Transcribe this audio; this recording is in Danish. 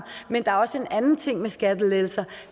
men der er også en anden ting med skattelettelser